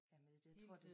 Hele tiden